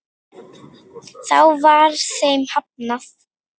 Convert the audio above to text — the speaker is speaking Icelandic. Þá var þeim hafnað.